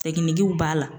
Jiginiw b'a la